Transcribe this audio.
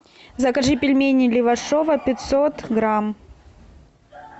закажи пельмени левашово пятьсот грамм